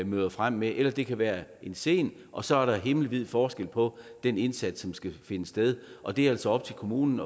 møder frem med eller det kan være en sen og så er der himmelvid forskel på den indsats som skal finde sted og det er altså op til kommunen